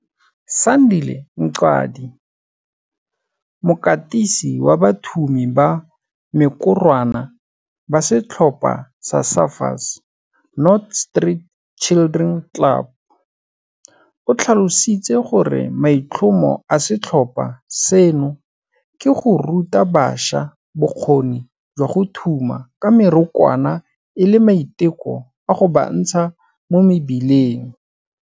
Sandile Mqadi, mokatisi wa bathumi ba mekorwana ba setlhopha sa Surfers Not Street Children Club, o tlhalositse gore maitlhomo a setlhopha seno ke go ruta bašwa bokgoni jwa go thuma ka mekorwana e le maiteko a go ba ntsha mo mebileng.